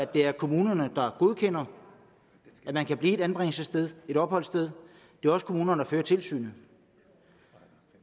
det er kommunerne der godkender at man kan blive et anbringelsessted et opholdssted det er også kommunerne der fører tilsynet